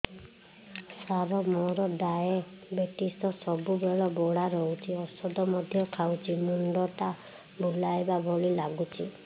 ସାର ମୋର ଡାଏବେଟିସ ସବୁବେଳ ବଢ଼ା ରହୁଛି ଔଷଧ ମଧ୍ୟ ଖାଉଛି ମୁଣ୍ଡ ଟା ବୁଲାଇବା ଭଳି ଲାଗୁଛି